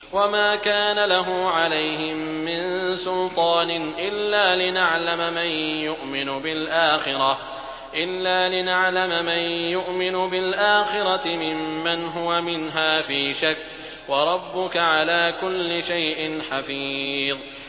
وَمَا كَانَ لَهُ عَلَيْهِم مِّن سُلْطَانٍ إِلَّا لِنَعْلَمَ مَن يُؤْمِنُ بِالْآخِرَةِ مِمَّنْ هُوَ مِنْهَا فِي شَكٍّ ۗ وَرَبُّكَ عَلَىٰ كُلِّ شَيْءٍ حَفِيظٌ